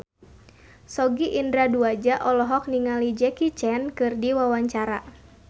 Sogi Indra Duaja olohok ningali Jackie Chan keur diwawancara